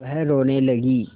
वह रोने लगी